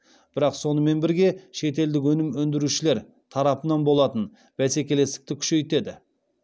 бірақ сонымен бірге шетелдік өнім өндірушілер тарапынан болатын бәсекелестікті күшейтеді